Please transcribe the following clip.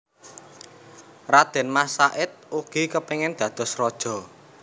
Radén Mas Said ugi kepingin dados raja